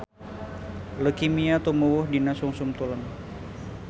Leukemia tumuwuh dina sungsum tulang